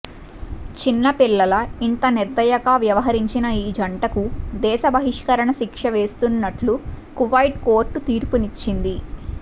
చిన్నపిల్లల ఇంత నిర్దయగా వ్యవహరించిన ఈ జంటకు దేశ బహిష్కరణ శిక్ష వేస్తున్నట్లు కువైట్ కోర్టు తీర్పునిచ్చింది